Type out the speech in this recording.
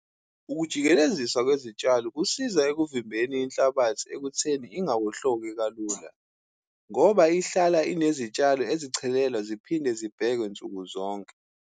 Ukujikelezisa kwezitshalo kusiza ekuvimbeni inhlabathi ekutheni ingawohloki kalula, ngoba ihlala inezitshalo ezichelelwa ziphinde zibhekwe nsuku zonke.